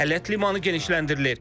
Ələt limanı genişləndirilir.